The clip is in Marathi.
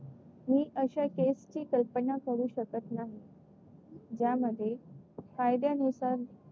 मी अशा केसची कल्पना करू शकत नाही. ज्यामध्ये कायद्यानुसार